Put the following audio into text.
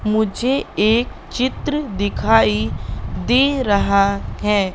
मुझे एक चित्र दिखाई दे रहा हैं।